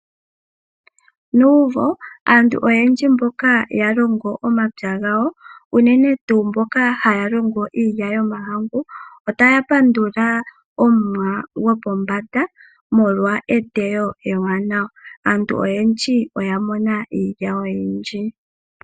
Nuumvo, aantu oyendji mboka yalongo omapya gawo, unene tuu mboka haya longo iilya yomahangu, otaya pandula omuwa gwopombanda, molwa eteyo ewanawa. Aantu oyendji oya mona iilya oyindji.